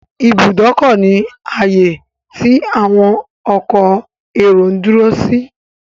Ìbùdókọ̀ ni ààyè tí àwọn ọkọ èrò ń dúró sí.